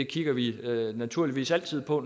kigger vi naturligvis altid på